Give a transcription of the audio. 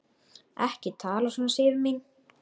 Ekki tala svona, Sif mín!